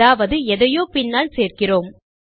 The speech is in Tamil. அதாவது எதையோ பின்னால் சேர்க்கிறோம்